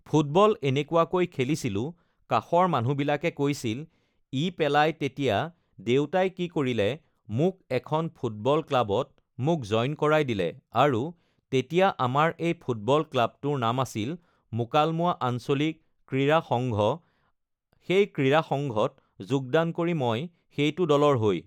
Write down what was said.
football এনেকুৱাকৈ খেলিছিলোঁ কাষৰ মানুহবিলাকে কৈছিল ই পেলাই তেতিয়া দেউতাই কি কৰিলে মোক এখন ফুটবল ক্লাবত মোক জইন কৰাই দিলে আৰু তেতিয়া আমাৰ এই ফুটবল ক্লাবটোৰ নাম আছিল মুকালমুৱা আঞ্চলিক ক্ৰীড়া সংঘ সেই ক্ৰীড়া সংঘত যোগদান কৰি মই সেইটো দলৰ হৈ